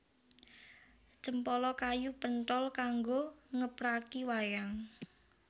Cempala kayu penthol kanggo ngepraki wayang